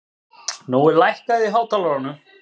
Nóel, lækkaðu í hátalaranum.